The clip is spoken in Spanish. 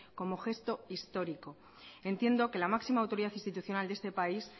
como gesto histórico entiendo que la máxima autoridad institucional de este país